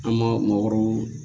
An mago